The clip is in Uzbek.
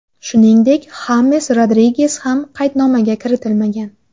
Shuningdek, Xames Rodriges ham qaydnomaga kiritilmagan.